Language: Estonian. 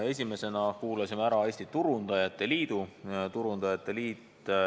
Esimesena kuulasime ära Turundajate Liidu.